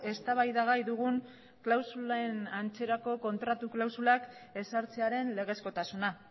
eztabaidagai dugun klausulen antzerako kontratu klausulak ezartzearen legezkotasuna